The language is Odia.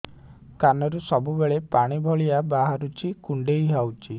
କାନରୁ ସବୁବେଳେ ପାଣି ଭଳିଆ ବାହାରୁଚି କୁଣ୍ଡେଇ ହଉଚି